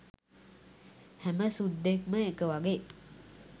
හැම සුද්දෙක්ම එක වගේ